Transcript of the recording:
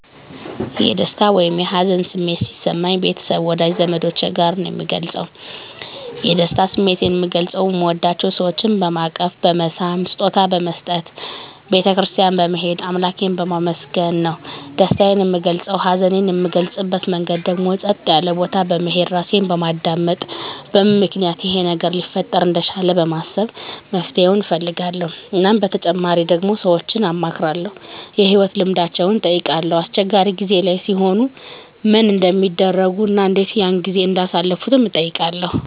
የደስታ ወይም የሀዘን ስሜት ሲሰማኝ ቤተሰብ ወዳጅ ዘመዶቸ ጋር ነዉ ምገልፀዉ የደስታ ስሜቴን ምገልፀዉ ምወዳቸዉ ሰወችን በማቀፍ በመሳም ስጦታ በመስጠት ቤተ ክርስትያን በመሄድ አምላኬን በማመስገን ነዉ ደስታየን ምገልፀዉ ሀዘኔን ምገልፅበት መንገድ ደግሞ ፀጥ ያለ ቦታ በመሄድ ራሴን በማዳመጥ በምን ምክንያት ይሄ ነገር ሊፈጠር እንደቻለ በማሰብ መፍትሄዉን እፈልጋለዉ እናም በተጨማሪ ደግሞ ሰወችን አማክራለዉ የህይወት ልምዳቸዉን እጠይቃለዉ አስቸጋሪ ጊዜ ላይ ሲሆኑ ምን እንደሚያደርጉ እና እንዴት ያን ጊዜ እንዳሳለፉትም እጠይቃለዉ